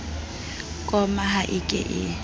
koma ha e ke e